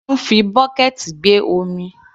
A máa ń fi bọ́kẹ̀ẹ̀tì gbé omi.